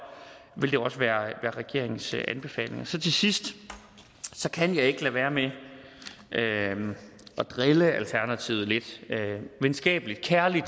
vil det også være regeringens anbefaling så til sidst kan jeg ikke lade være med at drille alternativet lidt venskabeligt kærligt